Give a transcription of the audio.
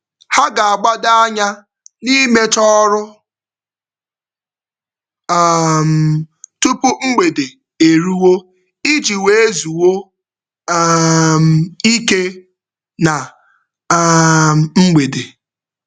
Ha ga-agbado anya n'imecha ọrụ um tupu mgbede eruo iji wee zuo um ike na um mgbede.